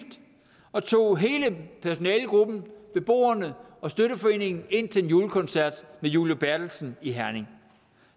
og tog hele personalegruppen beboerne og støtteforeningen ind til en juliekoncert med julie berthelsen i herning